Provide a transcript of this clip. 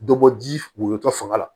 Dɔ bɔ ji woyotɔ fanga la